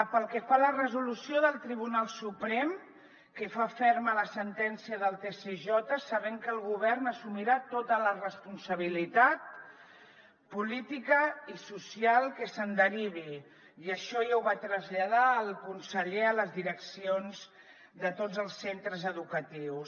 pel que fa a la resolució del tribunal suprem que fa ferma la sentència del tsj sabem que el govern assumirà tota la responsabilitat política i social que se’n derivi i això ja ho va traslladar el conseller a les direccions de tots els centres educatius